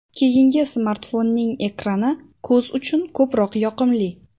Keyingi smartfonning ekrani ko‘z uchun ko‘proq yoqimli.